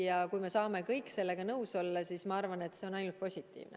Ja kui me saame kõik sellega nõus olla, siis ma arvan, et see on ainult positiivne.